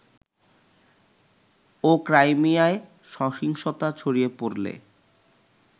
ও ক্রাইমিয়ায় সহিংসতা ছড়িয়ে পড়লে